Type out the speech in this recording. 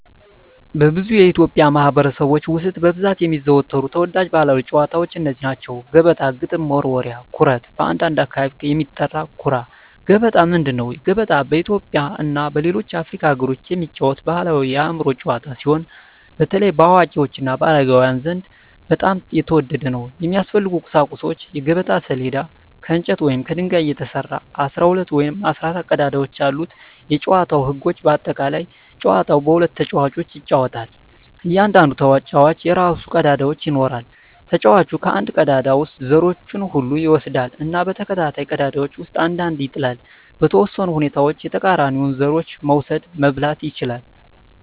በብዙ የኢትዮጵያ ማኅበረሰቦች ውስጥ በብዛት የሚዘወተሩ ተወዳጅ ባሕላዊ ጨዋታዎች እነዚህ ናቸው፦ ገበጣ ግጥም መወርወሪያ / ኩርት (በአንዳንድ አካባቢ የሚጠራ) ኩራ ገበጣ ምንድን ነው? ገበጣ በኢትዮጵያ እና በሌሎች የአፍሪካ አገሮች የሚጫወት ባሕላዊ የአእምሮ ጨዋታ ሲሆን፣ በተለይ በአዋቂዎች እና በአረጋውያን ዘንድ በጣም የተወደደ ነው። የሚያስፈልጉ ቁሳቁሶች የገበጣ ሰሌዳ: ከእንጨት ወይም ከድንጋይ የተሰራ፣ 12 ወይም 14 ቀዳዳዎች ያሉት የጨዋታው ህጎች (በአጠቃላይ) ጨዋታው በሁለት ተጫዋቾች ይጫወታል። እያንዳንዱ ተጫዋች የራሱን ቀዳዳዎች ይኖራል። ተጫዋቹ ከአንድ ቀዳዳ ውስጥ ዘሮቹን ሁሉ ይወስዳል እና በተከታታይ ቀዳዳዎች ውስጥ አንድ አንድ ይጥላል። . በተወሰኑ ሁኔታዎች የተቃራኒውን ዘሮች መውሰድ (መብላት) ይችላል።